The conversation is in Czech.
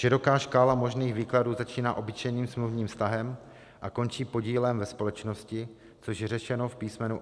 Široká škála možných výkladů začíná obyčejným smluvním vztahem a končí podílem ve společnosti, což je řešeno v písm.